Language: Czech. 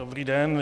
Dobrý den.